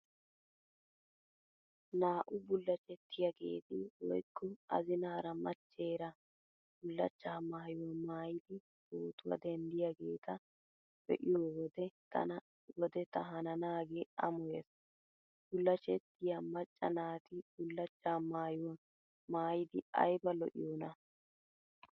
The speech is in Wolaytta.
Naa"u bullachchettiyaageeti woykko azinaara machcheera bullachchaa maayuwaa maayidi pootuwaa denddiyaageeta be'iyo wode tana wode ta hananaagee amoyees. Bullachchettiyaa macca naati bullachchaa maayuwaa maayidi ayba lo'iyoonaa.